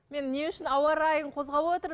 мен не үшін ауа райын қозғап отырмын